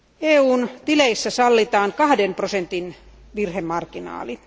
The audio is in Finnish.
EUn tileissä sallitaan kahden prosentin virhemarginaali.